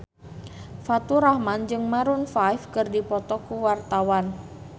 Faturrahman jeung Maroon 5 keur dipoto ku wartawan